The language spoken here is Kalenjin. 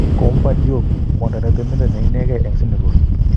Coumba Diop: kwondo ne temindet ne inekee en Senegal